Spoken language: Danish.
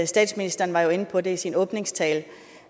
statsministeren var jo inde på det i sin åbningstale